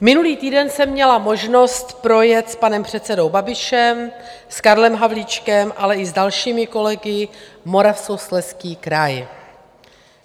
Minulý týden jsem měla možnost projet s panem předsedou Babišem, s Karlem Havlíčkem, ale i s dalšími kolegy Moravskoslezský kraj.